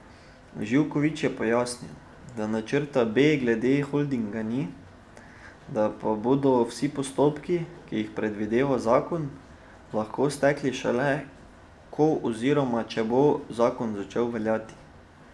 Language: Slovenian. Živkovič je pojasnil, da načrta B glede holdinga ni, da pa bodo vsi postopki, ki jih predvideva zakon, lahko stekli šele, ko oziroma če bo zakon začel veljati.